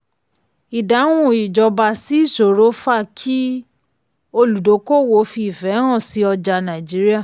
ìdáhùn ìjọba sí ìṣòro fa kí olùdókòwò fi ìfẹ́ hàn sí ọjà nàìjííríà.